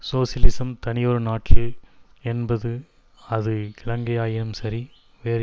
socialism தனியொரு நாட்டில் என்பது அது இலங்கையாயினும் சரி வேறு